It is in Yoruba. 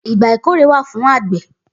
Igbà ikóré wà fún ágbẹ̀